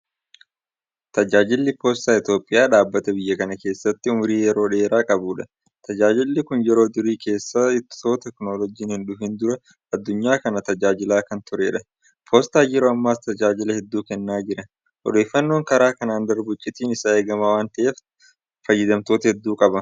Tajaajilli Poostaa Itoophiyaa dhaabbata biyya kana keessatti ummurii yeroo qabudha. Tajaajilli kun yeroo durii keessa itoo teekinooloojiin hindhufin dura addunyaa kana tajaajilaa kan turedha. Poostaan yeroo ammaas tajaajila hedduu kennaa jira. Odeeffannoon karaa kanaan darbu icciitiin isaa eegamaa waanta ta'eef fayyadamtoota hedduu qaba.